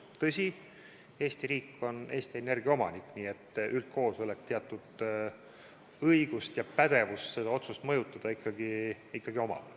Tõsi, Eesti riik on Eesti Energia omanik, nii et üldkoosolekul teatud õigus ja pädevus seda otsust mõjutada ikkagi on.